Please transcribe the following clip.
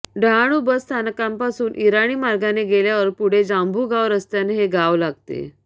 Dahanu bus स्थानकापासून ईराणी मार्गाने गेल्यावर पुढे जांभुगाव रस्त्याने हे गाव लागते